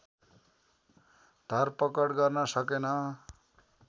धरपकड गर्न सकेन